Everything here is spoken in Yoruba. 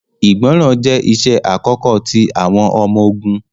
Ìgbọràn jẹ iṣẹ akọkọ ti awọn ọmọ-ogun.